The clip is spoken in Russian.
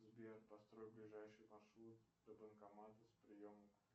сбер построй ближайший маршрут до банкомата с приемом